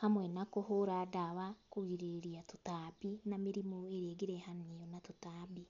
hamwe na kũhũra ndawa kũgirĩrĩria tũtambi na mĩrimũ ĩrĩa ĩngĩrehania na tũtambi.